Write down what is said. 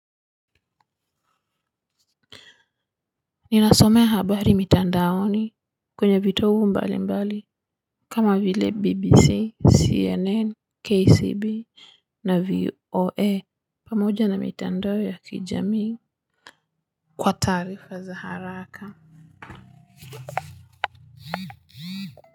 Ninasomea habari mitandaoni kwenye vitogu mbali mbali kama vile bbc cnn kcb na vioe pamoja na mitandao ya kijamii kwa taarifa za haraka.